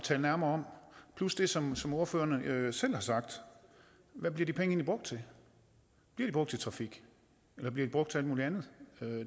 tale nærmere om plus det som som ordførerne selv har sagt hvad bliver de penge egentlig brugt til bliver de brugt til trafik eller bliver de brugt til alt muligt andet